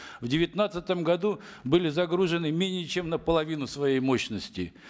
в девятнадцатом году были загружены менее чем на половину своей мощности